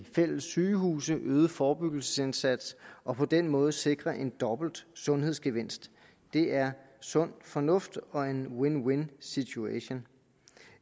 fælles sygehuse øget forebyggelsesindsats og på den måde sikres en dobbelt sundhedsgevinst det er sund fornuft og en win win situation